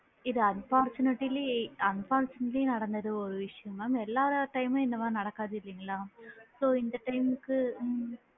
இது unfortunately unfortunately நடந்தது ஒரு விஷயம் mam எல்லா time மும் இந்த மாதிரி நடக்காது இல்லைங்களா? so இந்த time கு உம்